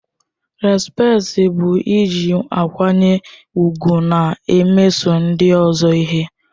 Respekti bụ iji nkwanye ùgwù na-emeso ndị ọzọ ihe.